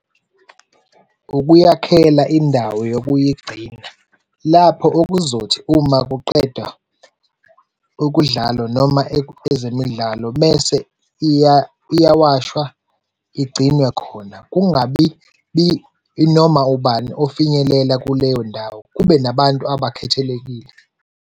Ukuyikhela indawo yokuyigcina lapho okuzothi uma kuqedwa ukudlalwa noma ezemidlalo bese iyawashwa igcinwe khona kungabi noma ubani ofinyelela kuleyo ndawo. Kube nabantu abakhethelekile.